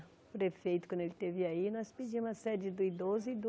O prefeito, quando ele esteve aí, nós pedimos a sede do idoso e do...